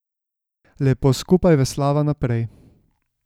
Lepo skupaj veslava naprej.